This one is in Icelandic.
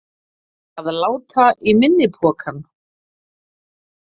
Að láta í minni pokann